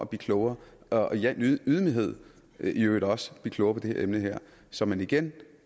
blive klogere og i al ydmyghed også blive klogere på det her emne så man igen